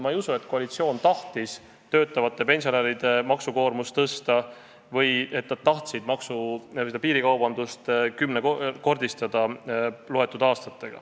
Ma ei usu, et koalitsioon tahtis töötavate pensionäride maksukoormust tõsta või mõne aastaga piirikaubandust kümnekordistada.